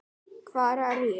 HVAR ER ÉG?